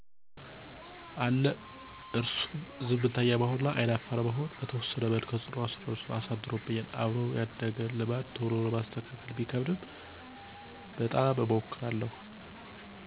አለ እርሱም ዝምተኛ መሆን እና አይን አፋር መሆን በተወሰነ መልኩ ተፅዕኖ አድርሶብኛል። አብሮ ያደገን ልማድ ቶሎ ማስተካክል ቢከብድም በጣም እሞክራለሁ።